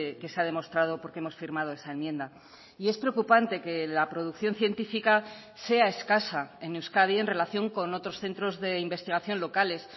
que se ha demostrado porque hemos firmado esa enmienda y es preocupante que la producción científica sea escasa en euskadi en relación con otros centros de investigación locales